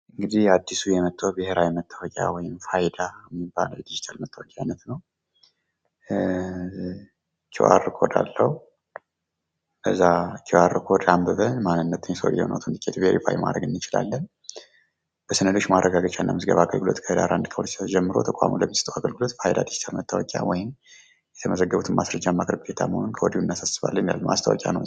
እንግድህ አድሱ ብሔራዊ መታወቂያ ወይም ፋይዳ የሚባለው የድጂታል መታወቂያ አይነት ነው። ኪው አር ኮድ አለው። ከዛ ኪው አር ኮድ አንብበን የሰውየውን መረጃ ቬሪፋይ ማድረግ እንችላለን ማለት ነው። በሰነዶች ማረጋገጫ እና ምዝገባ አገልግሎት ከህዳር 1ቀን 2017 ዓ.ም ጀምሮ ተቋሙ ለሚሰጠው አገልግሎት ፋይዳ ዲጂታል መታወቂያ ወይም የተመዘገቡበትን ማስረጃ ማቅረብ ግዴታ መሆኑን ከወድሁ እናሳስባለን ይላል ማስታወቂያ ነው።